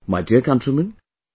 My dear countrymen,